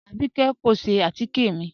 Abíkẹ̀ kò ṣẹ̀ àtíkẹ̀ mi